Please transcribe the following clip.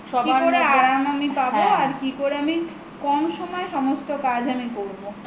কি করে আরাম আমি পাব আর কি করে কম সময়ে সমস্ত কাজ আমি করব